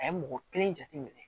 A ye mɔgɔ kelen jate minɛ